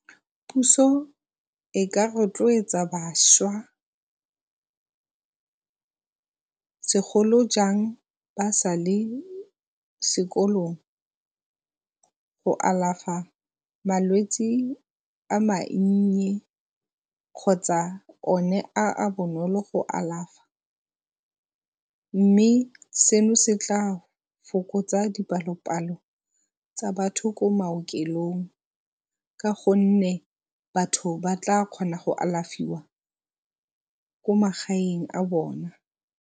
Puso e ka rotloetsa bašwa segolo jang ba sa le sekolong go alafa malwetsi a mannye kgotsa oe a a bonolo go alafa, mme seno se tla fokotsa dipalo-palo tsa batho ko maokelong, ka gonne batho ba tla kgona go alafiwa ko magaeng a bone.